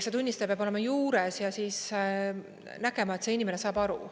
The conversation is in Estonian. See tunnistaja peab olema juures ja siis nägema, et see inimene saab aru.